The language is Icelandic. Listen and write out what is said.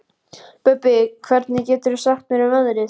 Bubbi, hvað geturðu sagt mér um veðrið?